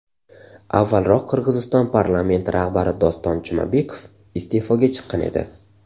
Avvalroq Qirg‘iziston parlamenti rahbari Doston Jumabekov iste’foga chiqqan edi.